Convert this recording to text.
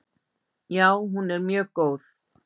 Já, hún er mjög góð.